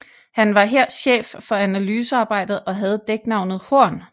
Han var her chef for analysearbejdet og havde dæknavnet Horn